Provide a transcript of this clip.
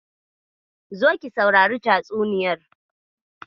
Zo ki sausari tatsuniyar.